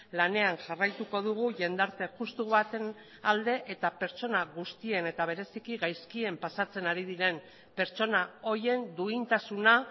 lanean jarraituko dugu jendarte justu baten alde eta pertsona guztien eta bereziki gaizkien pasatzen ari diren pertsona horien duintasuna